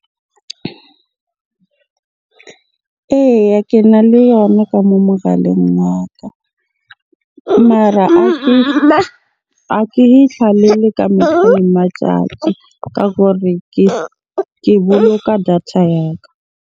Eya, kena le yona ka moo mogaleng wa ka. Mara ha ke e ka metlha le matjatji ka gore ke boloka data ya ka.